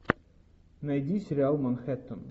найди сериал манхэттен